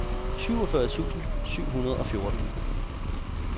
syvogfyrre tusind syv hundrede og fjorten